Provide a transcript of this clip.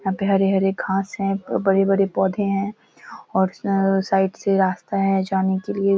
यहाँ पे हरे-हरे घास हैं। बड़े-बड़े पौधे है और साइड से रास्ता है जाने के लिए।